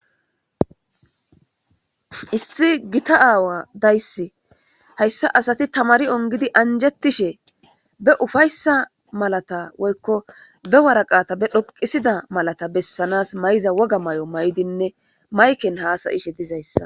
Issi gita aawa daysse hayssa asati tamari ongidi anjetishe be ufayssa malata woykko be waraqata be dhoqisida malata bessanas mayiza woga may7o may7dinne mayken haasayishe dizayssa.